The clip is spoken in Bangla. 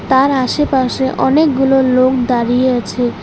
তার আসেপাশে অনেকগুলো লোক দাঁড়িয়ে আছে।